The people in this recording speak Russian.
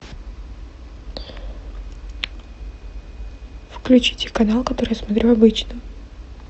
включите канал который я смотрю обычно